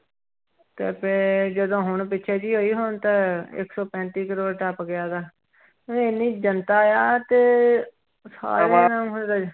ਤੇ ਫਿਰ ਜਦੋਂ ਹੁਣ ਪਿੱਛੇ ਜਿਹੇ ਹੋਈ ਹੁਣ ਤਾਂ ਇੱਕ ਸੌ ਪੈਂਤੀ ਕਰੌੜ ਟੱਪ ਗਿਆ ਗਾ, ਮਤਲਬ ਇੰਨੀ ਜਨਤਾ ਆ ਤੇ ਸਾਰੀਆਂ ਮਤਲਬ